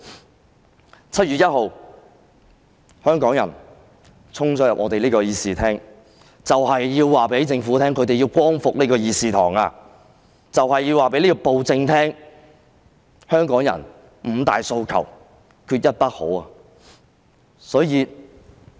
在7月1日，香港人衝進立法會議事廳，就是要告訴政府，他們要光復這個議事堂，就是要告訴暴政，香港人"五大訴求，缺一不可"。